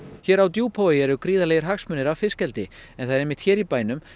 hér á Djúpavogi er gríðarlegir hagsmunir af fiskeldi en það er einmitt hér í bænum